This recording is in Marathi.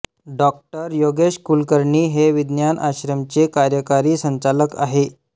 डॉ योगेश कुलकर्णी हे विज्ञान आश्रम चे कार्यकारी संचालक आहे